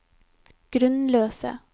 grunnløse